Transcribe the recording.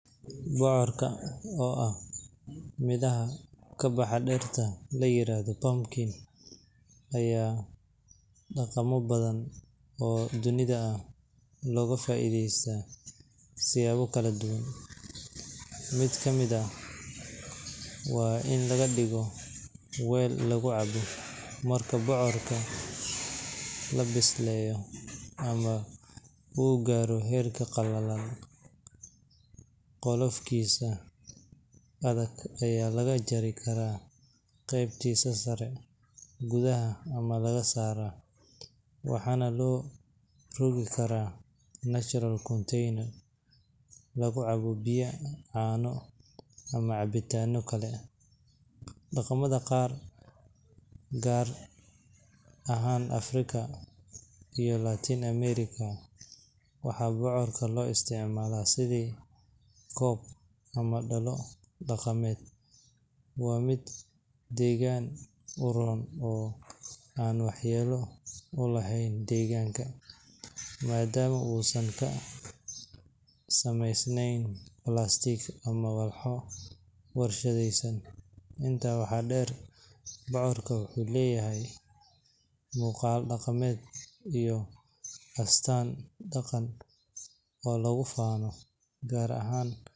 Bocorka, oo ah midhaha ka baxa dhirta la yiraahdo pumpkin, ayaa dhaqamo badan oo dunida ah looga faa’iideystaa siyaabo kala duwan, mid ka mid ahna waa in laga dhigo weel lagu cabbo. Marka bocorka la bisleeyo ama uu gaaro heer qallalan, qolofkiisa adag ayaa laga jari karaa qaybtiisa sare, gudaha ayaa laga saaraa, waxaana loo rogi karaa natural container lagu cabbo biyo, caano, ama cabitaanno kale. Dhaqamada qaar, gaar ahaan Afrika iyo Latin America, waxaa bocorka loo isticmaalaa sidii koob ama dhalo dhaqameed. Waa mid deegaan u roon oo aan waxyeello u lahayn deegaanka, maadaama uusan ka samaysnayn plastic ama walxo warshadaysan. Intaa waxaa dheer, bocorka wuxuu leeyahay muuqaal dhaqameed iyo astaan dhaqan oo lagu faano, gaar ahaan.